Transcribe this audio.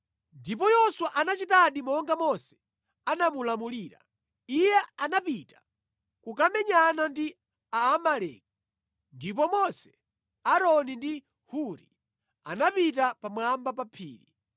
Ndipo Yoswa anachitadi monga Mose anamulamulira. Iye anapita kukamenyana ndi Aamaleki ndipo Mose, Aaroni ndi Huri anapita pamwamba pa phiri.